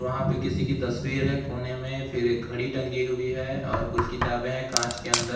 वहां पे किसी की तस्वीर है कोने में फिर एक घड़ी टंगी हुई है और कुछ किताबे हैं कांच के अंदर।